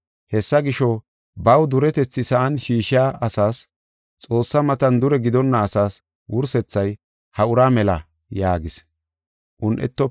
“Hessa gisho, baw duretethi sa7an shiishiya asas, Xoossaa matan dure gidonna asaas wursethay ha ura mela” yaagis.